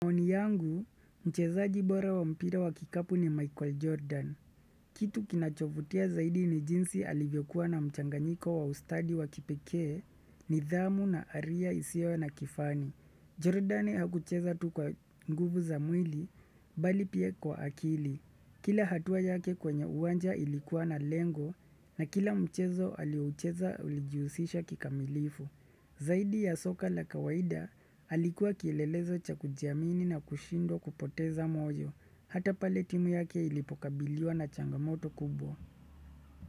Maoni yangu, mchezaji bora wa mpira wa kikapu ni Michael Jordan. Kitu kinachovutia zaidi ni jinsi alivyokuwa na mchanganyiko wa ustadi wa kipekee nidhamu na aria isio na kifani. Jordan hakucheza tu kwa nguvu za mwili, bali pia kwa akili. Kila hatua yake kwenye uwanja ilikuwa na lengo na kila mchezo aliocheza ulijihusisha kikamilifu. Zaidi ya soka la kawaida, alikuwa kielelezo cha kujiamini na kushindwa kupoteza moyo, hata pale timu yake ilipokabiliwa na changamoto kubwa.